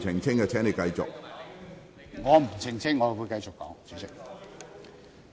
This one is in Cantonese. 主席，我不會澄清，我會繼續發言。